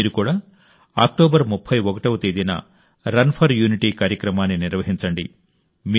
మీరు కూడా అక్టోబర్ 31వ తేదీన రన్ ఫర్ యూనిటీ కార్యక్రమాన్ని నిర్వహించండి